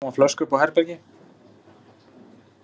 Mamma átti tóma flösku uppi á herbergi.